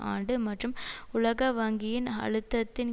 ஆண்டு மற்றும் உலக வங்கியின் அழுத்தத்தின்